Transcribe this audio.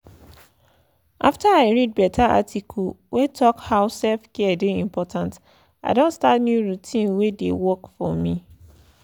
after i read beta article wey talk how self-care dey important i don start new routine wey dey work for me